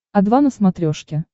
о два на смотрешке